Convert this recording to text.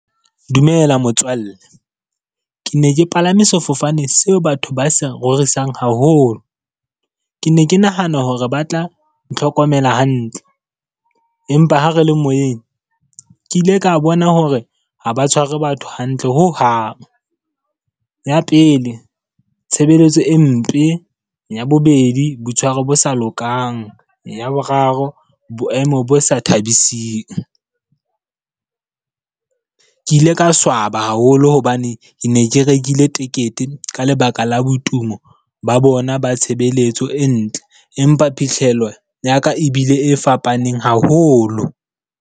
Dumela motswalle. Ke ne ke palame sefofane seo batho ba se rorisang haholo. Ke ne ke nahana hore ba tla ntlhokomela hantle, empa ha re le moyeng ke ile ka bona hore ha ba tshware batho hantle ho hang. Ya pele, tshebeletso e mpe. Ya bobedi, boitshwaro bo sa lokang. Ya boraro, boemo bo sa thabising. Ke ile ka swaba haholo hobane ne ke rekile tekete ka lebaka la botumo ba bona ba tshebeletso e ntle. Empa phitlhello ya ka e bile e fapaneng haholo.